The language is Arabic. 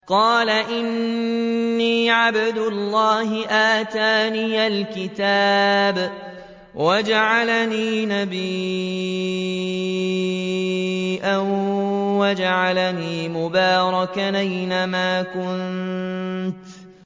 قَالَ إِنِّي عَبْدُ اللَّهِ آتَانِيَ الْكِتَابَ وَجَعَلَنِي نَبِيًّا